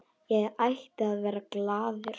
Ég ætti að vera glaður.